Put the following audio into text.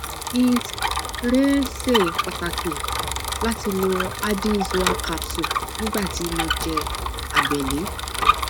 it rẹ ṣe pàtàkì láti lo addy zoa capsule nígbà tí mo jẹ abẹlé